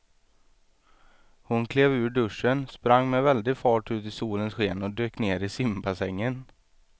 Hon klev ur duschen, sprang med väldig fart ut i solens sken och dök ner i simbassängen.